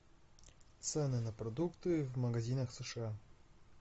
цены на продукты в магазинах сша